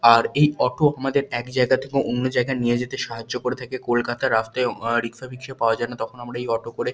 আর এই অটো আমাদের এক জায়গা থকে অন্য জায়গায় নিয়ে যেতে সাহায্য করে থাকে কলকাতা র রাস্তায় আর রিক্সা ফিক্স এ পাওয়া যায় না তখন আমরা এই অটো করে।